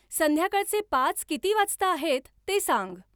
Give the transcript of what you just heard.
संध्याकाळचे पाच किती वाजता आहेत ते सांग